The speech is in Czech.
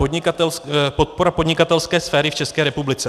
Podpora podnikatelské sféry v České republice.